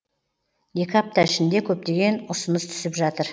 екі апта ішінде көптеген ұсыныс түсіп жатыр